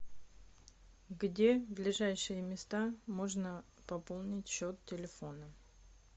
где ближайшие места можно пополнить счет телефона